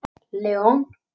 Leon